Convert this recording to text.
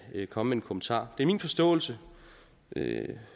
komme med en kommentar det er min forståelse det